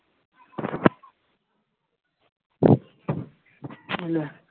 hello